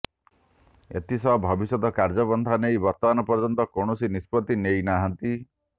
ଏଥିସହ ଭବିଷ୍ୟତ କାର୍ଯ୍ୟପନ୍ଥା ନେଇ ବର୍ତ୍ତମାନ ପର୍ଯ୍ୟନ୍ତ କୌଣସି ନିଷ୍ପତ୍ତି ନେଇନାହାନ୍ତି